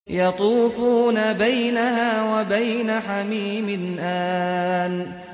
يَطُوفُونَ بَيْنَهَا وَبَيْنَ حَمِيمٍ آنٍ